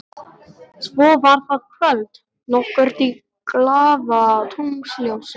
Svo var það kvöld nokkurt í glaðatunglsljósi.